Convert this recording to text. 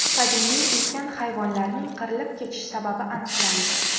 Qadimiy ulkan hayvonlarning qirilib ketish sababi aniqlandi.